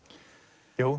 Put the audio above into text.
jú